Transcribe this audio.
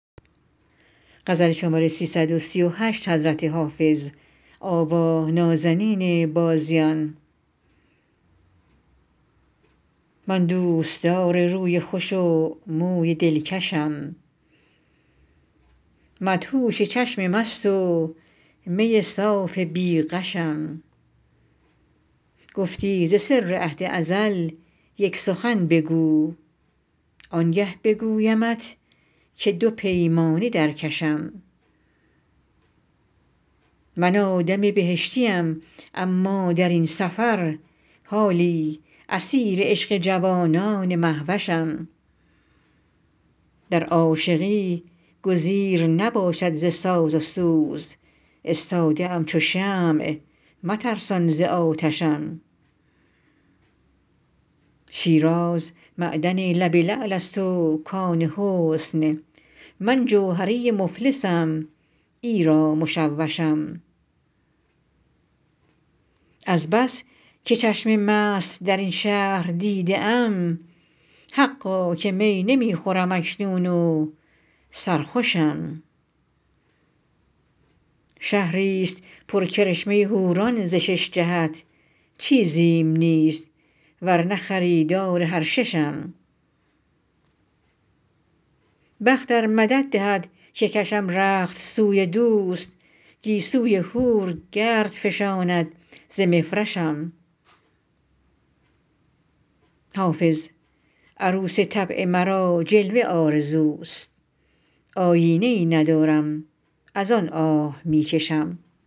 من دوستدار روی خوش و موی دلکشم مدهوش چشم مست و می صاف بی غشم گفتی ز سر عهد ازل یک سخن بگو آنگه بگویمت که دو پیمانه در کشم من آدم بهشتیم اما در این سفر حالی اسیر عشق جوانان مهوشم در عاشقی گزیر نباشد ز ساز و سوز استاده ام چو شمع مترسان ز آتشم شیراز معدن لب لعل است و کان حسن من جوهری مفلسم ایرا مشوشم از بس که چشم مست در این شهر دیده ام حقا که می نمی خورم اکنون و سرخوشم شهریست پر کرشمه حوران ز شش جهت چیزیم نیست ور نه خریدار هر ششم بخت ار مدد دهد که کشم رخت سوی دوست گیسوی حور گرد فشاند ز مفرشم حافظ عروس طبع مرا جلوه آرزوست آیینه ای ندارم از آن آه می کشم